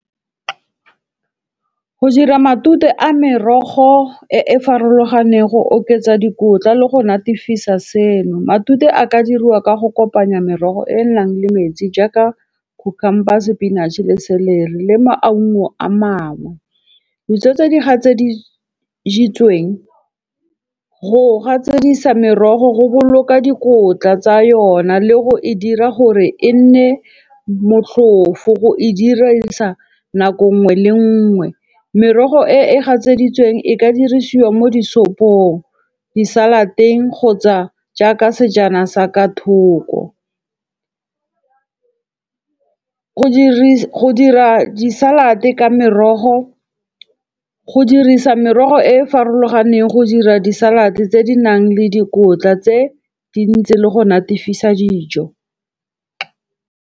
Go dira matute a merogo e e farologaneng go oketsa dikotla le go natefisa seno. Matute a ka diriwa ka go kopanya merogo e e nang le metsi jaaka cucumber, spinach-e le celery le maungo a mangwe. Ditso tse di gatseditsweng go gatsedisa merogo go boloka dikotla tsa yona le go e dira gore e nne motlhofo. Go e dirisa nako nngwe le nngwe. Merogo e gatseditsweng e ka dirisiwa mo disopong, di-salad-eng kgotsa jaaka sejana sa ka thoko. Go dira di-salad-e ka merogo, go dirisa merogo e e farologaneng, go dira di-salad tse di nang le dikotla tse dintsi le go natefisa dijo.